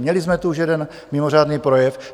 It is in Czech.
Měli jsme tu už jeden mimořádný projev.